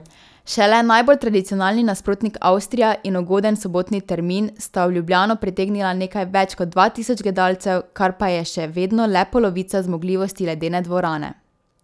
Šele najbolj tradicionalni nasprotnik Avstrija in ugoden sobotni termin sta v Ljubljano pritegnila nekaj več kot dva tisoč gledalcev, kar pa je še vedno le polovica zmogljivosti ledene dvorane.